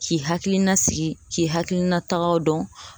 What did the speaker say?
K'i hakilina sigi k'i hakilinatagaw dɔn